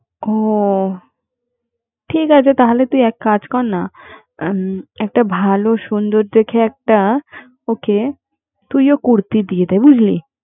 ও ঠিক আছে তাহলে এক কাজ করনা এম একটা ভালো দেখে একটা তুই ও করতি দিয়ে দে বুঝলি